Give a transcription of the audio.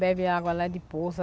Bebe água lá de poço.